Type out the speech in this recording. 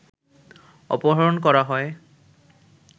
অপহরণ করা হয়